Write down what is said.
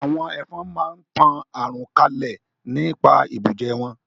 Àwọn Ẹ̀fọn máa ń tan àrùn kalẹ̀ nípa ìbùjẹ wọn